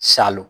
Salon